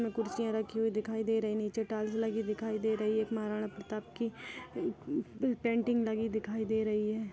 इसमें कुर्सिया रखी हुई दिखाई दे रही है नीचे टाइल्स लगी दिखाई दे रही है एक महाराणा प्रताप की पैंटिंग लगी दिखाई दे रही है।